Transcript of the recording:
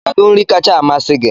Kedu nri kacha amasị gị?